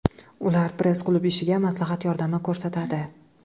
Ular press-klub ishiga maslahat yordami ko‘rsatadi.